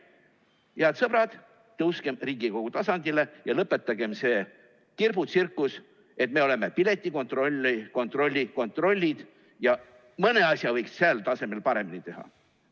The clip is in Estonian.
Head sõbrad, tõuskem Riigikogu tasandile ja lõpetagem see kirbutsirkus, et me oleme piletikontrolli kontrolli kontrollid ja mõne asja võiks sel tasemel paremini teha.